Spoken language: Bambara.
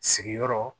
Sigiyɔrɔ